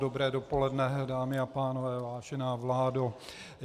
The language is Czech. Dobré dopoledne, dámy a pánové, vážená vládo.